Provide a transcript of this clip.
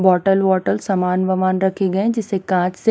bottle वॉटल सामान वमान रखी गए जिसे काँच से--